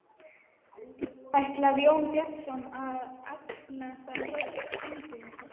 Ætlar Jón Bjarnason að efna það heit Steingríms?